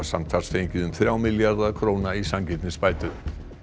samtals um þrjá milljarða króna í sanngirnisbætur